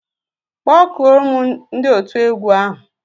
Kpọkụọ mụ ndi otu egwu ahu.